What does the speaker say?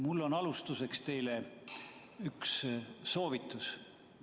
Mul on alustuseks teile üks soovitus.